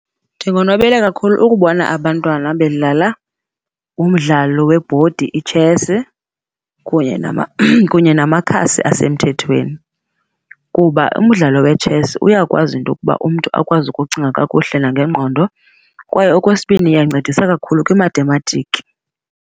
Ndikonwabele kakhulu ukubona abantwana bedlala umdlalo webhodi itshese kunye namakhasi asemthethweni. Kuba umdlalo wetshesi uyakwazi into okuba umntu akwazi ukucinga kakuhle nangengqondo, kwaye okwesibini iyancedisa kakhulu kwimathematiki.